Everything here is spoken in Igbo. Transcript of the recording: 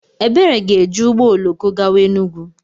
Ebere ga-eji ụgbọ oloko gawa Enugwu.